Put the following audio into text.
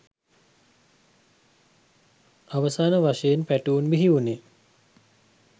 අවසාන වශයෙන් පැටවුන් බිහි වුණේ